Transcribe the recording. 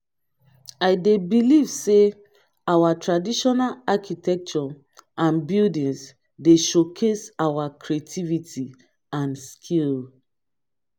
i dey believe say our traditional architecture and buildings dey showcase our creativity and skill.